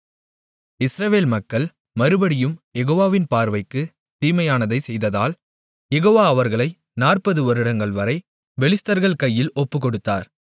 இஸ்ரவேல் மக்கள் மறுபடியும் யெகோவாவின் பார்வைக்கு தீமையானதைச் செய்ததால் யெகோவா அவர்களை 40 வருடங்கள் வரை பெலிஸ்தர்கள் கையில் ஒப்புக்கொடுத்தார்